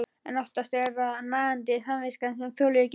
En oftast er það nagandi samviskan sem þolir ekki meir.